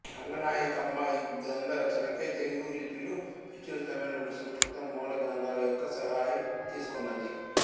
రంగనాయకమ్మ ఈ గ్రంథ రచనకై తెలుగు లిపిలో ప్రచురితమైన రెండు సంస్కృత మూల గ్రంథాల యొక్క సహాయం తీసుకొన్నది